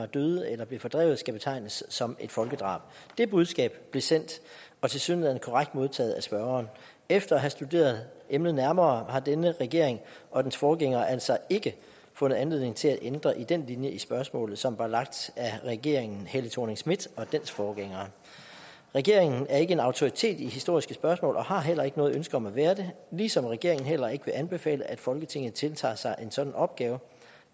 døde eller blev fordrevet skal betegnes som et folkedrab det budskab blev sendt og tilsyneladende korrekt modtaget af spørgeren efter at have studeret emnet nærmere har denne regering og dens forgænger altså ikke fundet anledning til at ændre i den linje i spørgsmålet som var lagt af regeringen helle thorning schmidt og dens forgængere regeringen er ikke en autoritet i historiske spørgsmål og har heller ikke noget ønske om at være det ligesom regeringen heller ikke vil anbefale at folketinget tiltager sig en sådan opgave